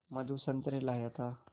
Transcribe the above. मधु संतरे लाया था